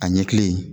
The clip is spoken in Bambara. A ɲɛkili